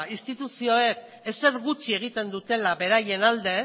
instituzioek ezer gutxi egiten dutela beraien alde